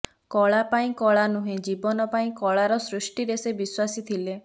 କଳା ପାଇଁ କଳା ନୁହେଁ ଜୀବନ ପାଇଁ କଳାର ସୃଷ୍ଟିରେ ସେ ବିଶ୍ବାସୀ ଥିଲେ